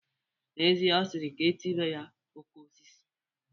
N'ezie, ọ sịrị ka e tibe ya "Okosis"